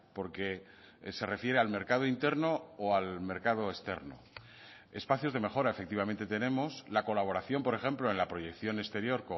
porque se refiere al mercado interno o al mercado externo espacios de mejora efectivamente tenemos la colaboración por ejemplo en la proyección exterior